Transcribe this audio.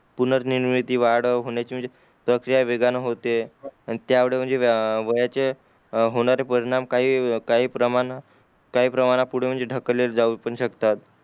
पूणर निर्मित वाढ होण्याची म्हणजे प्रक्रिया वेगाने होते आणि त्यामुडे व्य वयाचे होणारे परिणाम काही काही प्रमाणात प्रमाणात पुढे ढकले पण जाऊ पण शकतात